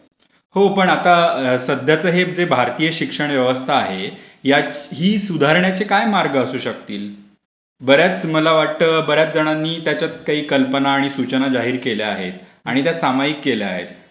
हो पण आता सध्याचा हे ते भारतीय शिक्षण व्यवस्था आहे ही सुधारण्याचे काय मार्ग असू शकतात? बर् याच मला वाटतं बर् याच जणांनी काही कल्पना आणि सूचना जाहीर केल्या आहेत आणि त्या सामायिक केल्या आहेत.